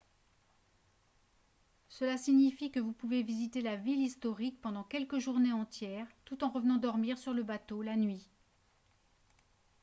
cela signifie que vous pouvez visiter la ville historique pendant quelques journées entières tout en revenant dormir sur le bateau la nuit